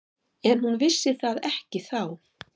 En hún vissi það ekki þá.